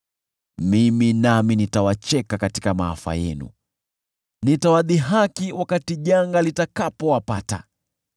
mimi nami nitawacheka katika maafa yenu, nitawadhihaki wakati janga litawapata: